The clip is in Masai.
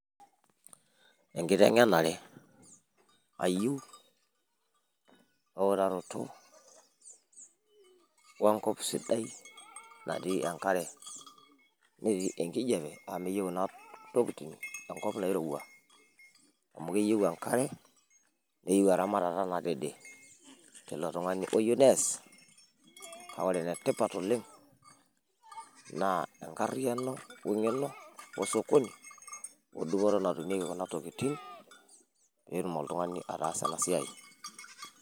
enkitenenare ayieu eutaroto, we nkop sidai natii enkare, netii enkijiape.,amu meyiu kuna tokitin enkop nairowua. amu keyieu enkare, neyieu eramatata nadede. teilo tung'ani oyieu nees. kake ore ene tipat oleng naa enkariyiano we ngeno osokoni.